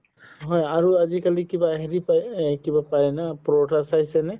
হয় আৰু আজিকালি কিবা হেৰি পাই এহ কিবা পাই না চাইছে নে